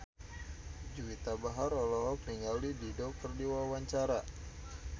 Juwita Bahar olohok ningali Dido keur diwawancara